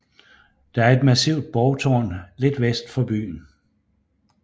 Det er et massivt borgtårn lidt vest for byen